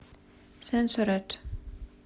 сенсоред